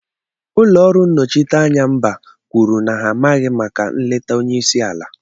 Ụlọ ọrụ nnochiteanya mba kwuru na ha amaghị maka nleta onye isi ala